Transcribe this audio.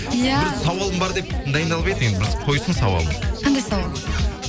ия бір сауалым бар деп дайындалып еді енді бір қойсын сауалын қандай сауал